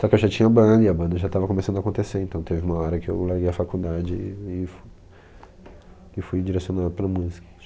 Só que eu já tinha banda e a banda já estava começando a acontecer, então teve uma hora que eu larguei a faculdade e e f e fui direcionando para a música.